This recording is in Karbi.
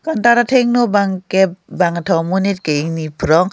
counter athengno bang ke bang kethom amonit ke ingni phrong.